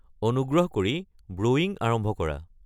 অনুগ্ৰহ কৰি ব্ৰুৱিং আৰম্ভ কৰা